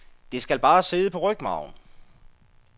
Det skal bare sidde på rygmarven.